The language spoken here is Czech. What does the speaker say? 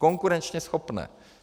Konkurenčně schopné.